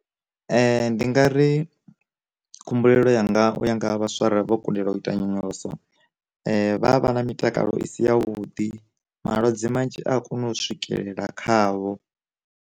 Ndi nga ri khumbulelo yanga uya nga vhaswa arali vho kundelwa u ita nyonyoloso, vha vha na mitakalo i si ya vhuḓi malwadze manzhi a kona u swikelela khavho.